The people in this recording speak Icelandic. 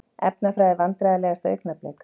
Efnafræði Vandræðalegasta augnablik?